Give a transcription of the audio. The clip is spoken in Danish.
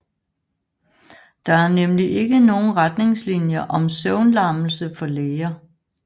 Der er nemlig ikke nogen retningslinjer om søvnlammelse for læger